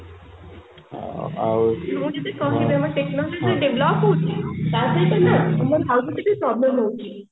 technology develop ହଉଛି ତା ସହିତ ଆମ ଟିକେ problem ହଉଛି